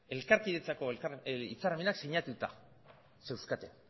elkarkidetzarako hitzarmenak sinatuta zeuzkaten